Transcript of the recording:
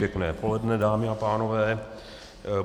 Pěkné poledne, dámy a pánové.